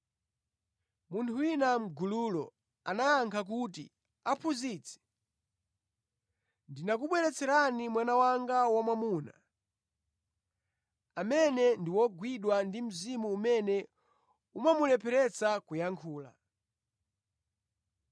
Munthu wina mʼgululo anayankha kuti, “Aphunzitsi, ndinakubweretserani mwana wanga wamwamuna, amene ndi ogwidwa ndi mzimu umene umamulepheretsa kuyankhula.